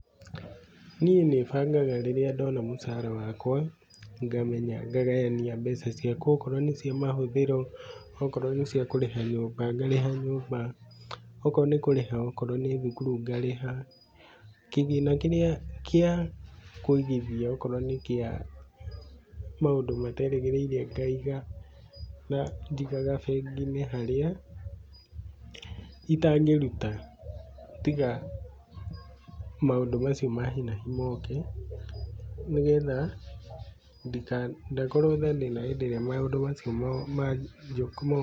Niĩ nĩ bangaga rĩrĩa ndona mũcara wakwa ngamenya, ngagayania mbeca ciakwa. Okorwo nĩ cia mahũthĩro, okorwo nĩ cia kũrĩha nyũmba ngarĩha nyũmba, okorwo nĩ kũrĩha okorwo nĩ thukuru ngarĩha, kĩgĩna kĩrĩa kĩa kũigithia okorwo nĩ kĩa maũndũ mateerĩgĩrĩire ngaiga. Njigaga bengi-inĩ harĩa itangĩruta tiga maũndũ macio ma hi na hi mooke, nĩgetha ndika ndĩna hĩndĩ ĩrĩa maũndũ macio ma